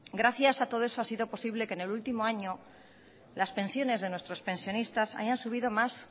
gracias a todo eso ha sido posible que en el último año las pensiones de nuestros pensionistas hayan subido más